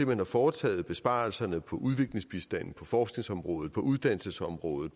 man har foretaget besparelserne på udviklingsbistanden forskningsområdet uddannelsesområdet